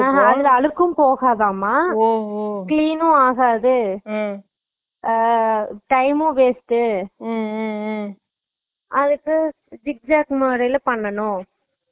அஹா அதுல அழுக்ககும் போகாதாம clean உம் ஆகாது அஹ் time உம் waste உ அதுக்கு zigzag model ல பண்ணனும்